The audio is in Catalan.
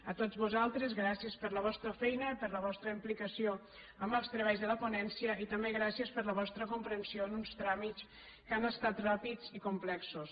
a tots vosaltres gràcies per la vostra feina i per la vostra implicació en els treballs de la ponència i també gràcies per la vostra comprensió en uns tràmits que han estat ràpids i complexos